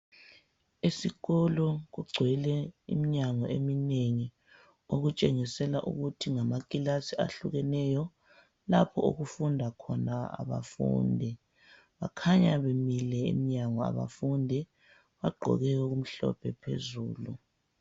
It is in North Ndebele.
Esikolo kugcwele iminyango eminengi. Okutshengisela ukuthi ngamakilasi ahlukeneyo. Lapho okufunda khona abafundi. Bakhanya bemile emnyango abafundi. Bagqoke okumhlophe phezulu.